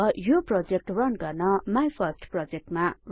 अब यो project run गर्न माइफर्स्टप्रोजेक्ट